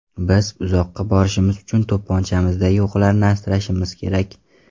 Biz uzoqqa borishimiz uchun to‘pponchamizdagi o‘qlarni asrashimiz kerak.